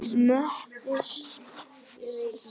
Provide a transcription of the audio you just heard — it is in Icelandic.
Möttuls saga